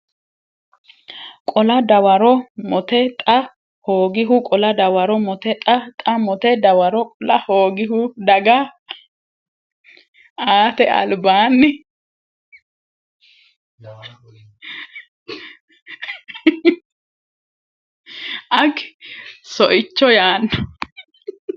qola dawaro mote Xa hoogihu qola dawaro mote Xa Xa mote dawaro qola hoogihu daga aate albaanni Agi soicho yaanno !